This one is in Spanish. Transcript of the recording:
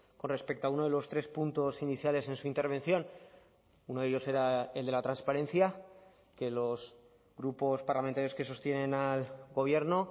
con respecto a uno de los tres puntos iniciales en su intervención uno de ellos era el de la transparencia que los grupos parlamentarios que sostienen al gobierno